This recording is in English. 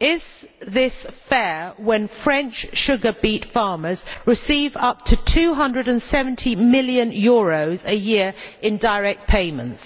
Is this fair when French sugar beet farmers receive up to EUR 270 million a year in direct payments?